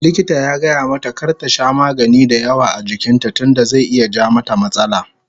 Likita ya gayamata kar ta sha magani dayawa a jikin ta tunda zai iya ja mata matsala